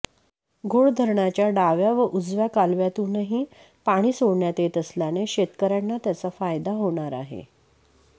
घोड धरणाच्या डाव्या व उजव्या कालव्यातूनही पाणी सोडण्यात येत असल्याने शेतकऱ्यांना त्याचा फायदा होणार आहे